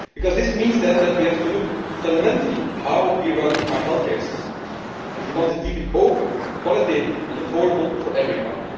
This means that we have to look fundamentally at how we run our healthcare systems if we want to keep them open, qualitative and affordable for everybody.